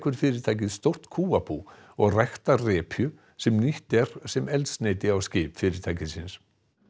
fyrirtækið stórt kúabú og ræktar repju sem nýtt er sem eldsneyti á skip fyrirtækisins